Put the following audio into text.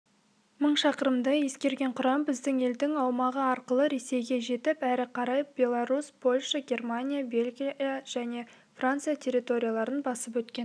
мың шақырымды еңсерген құрам біздің елдің аумағы арқылы ресейге жетіп әрі қарай беларусь польша германия бельгия және франция территорияларын басып өткен